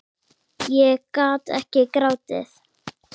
Ég gat ekki grátið.